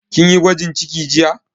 Kin yi gwajin ciki jiya?